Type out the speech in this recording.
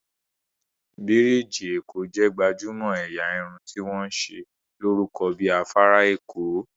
birigi Eko jé gbajúmò ẹ̀yà Irun tí wón sọ lórúko bí afárá Eko